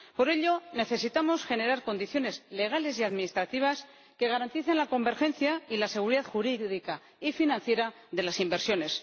Por ello necesitamos generar condiciones legales y administrativas que garanticen la convergencia y la seguridad jurídica y financiera de las inversiones.